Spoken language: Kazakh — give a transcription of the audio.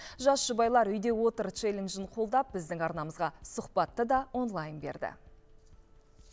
жас жұбайлар үйдеотыр челленджін қолдап біздің арнамызға сұхбатты да онлайн берді